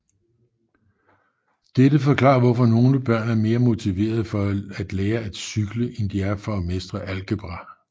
Dette forklarer hvorfor nogle børn er mere motiveret for at lærer at cykle end de er for at mestre algebra